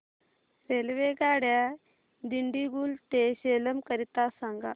रेल्वेगाड्या दिंडीगुल ते सेलम करीता सांगा